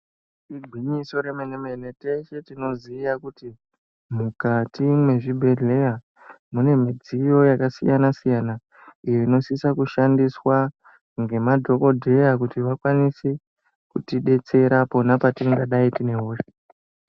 Igwinyiso re mene mene tese tinoziya kuti mukati mwe zvibhedhleya mune midziyo yaka siyana siyana inosisa ku shandiswa nge madhokodheya kuti vakwanise kuti detsera pona patinga dai tine hosha.